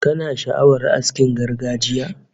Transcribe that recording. Kana sha'awar askin gargajiya?